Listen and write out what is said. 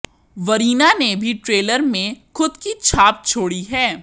वरीना ने भी ट्रेलर में खुद की छाप छोड़ी है